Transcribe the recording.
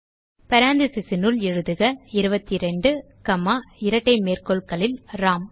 parenthesesனுள் எழுதுக 22 காமா இரட்டை மேற்கோள்களில் ராம்